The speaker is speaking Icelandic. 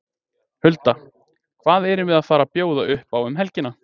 Hulda, hvað erum við að fara að bjóða upp á um helgina?